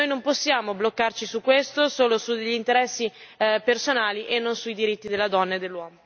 Noi non possiamo bloccarci su questo solo su degli interessi personali e non sui diritti della donna e dell'uomo.